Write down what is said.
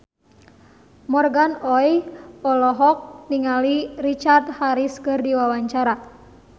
Morgan Oey olohok ningali Richard Harris keur diwawancara